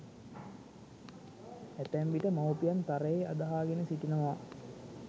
ඇතැම විට මවුපියන් තරයේ අදහාගෙන සිටිනවා